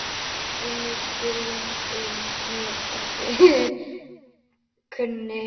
Önnur skýring er mér ekki kunn.